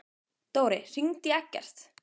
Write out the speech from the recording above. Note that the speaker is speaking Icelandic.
Dóri, hringdu í Eggert.